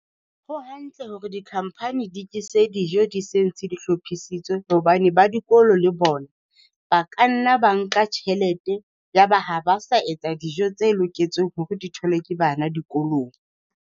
Ho hantle hore di-company di ke se dijo di se ntse di hlophisitswe hobane ba dikolo le bona, ba ka nna ba nka tjhelete ya ba ha ba sa etsa dijo tse loketseng hore di tholwe ke bana dikolong.